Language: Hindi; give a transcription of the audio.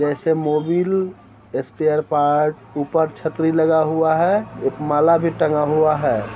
वैसे मोविल स्पेयर पार्ट्स ऊपर छतरी लगा हुआ है एक माला भी टंगा हुआ है।